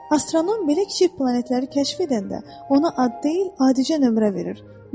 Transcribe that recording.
Astronom belə kiçik planetləri kəşf edəndə, ona ad deyil, adicə nömrə verir.